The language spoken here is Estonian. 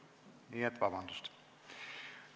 Nii et vabandust!